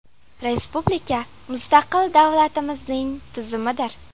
Respublika – mustaqil davlatimizning tuzumidir.